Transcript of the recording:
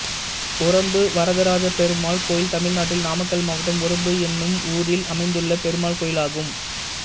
உரம்பு வரதராஜப்பெருமாள் கோயில் தமிழ்நாட்டில் நாமக்கல் மாவட்டம் உரம்பு என்னும் ஊரில் அமைந்துள்ள பெருமாள் கோயிலாகும்